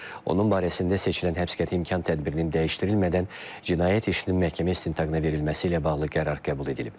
Onun barəsində seçilən həbs qəti imkan tədbirinin dəyişdirilmədən cinayət işinin məhkəmə istintaqına verilməsi ilə bağlı qərar qəbul edilib.